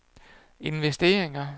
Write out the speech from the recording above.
investeringer